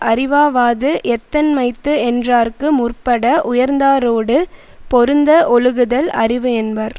அறிவாவாது எத்தன்மைத்து என்றார்க்கு முற்பட உயர்ந்தாரோடு பொருந்த ஒழுகுதல் அறிவு என்பர்